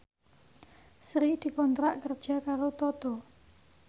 Sri dikontrak kerja karo Toto